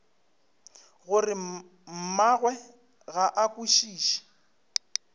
gore mmagwe ga a kwešiše